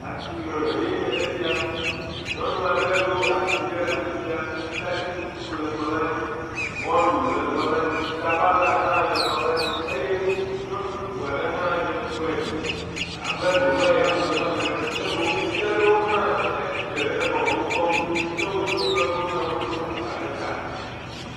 Asime enye esia, nyɔnu aɖe ɖo asi ɖe afi sia, ataditutu le kplɔ la dzi, mɔlu le kplɔ la dzi, sabala hã le kplɔ la dzi eye nyɔnu bubu hã dze ŋgɔe abe ɖe wo be yeaƒle nua ɖe ke ɖevi aɖewo hã etsi atsitre henɔ wokpɔm duu, ke wo dometɔ aɖewo hã lé agba ɖe ta.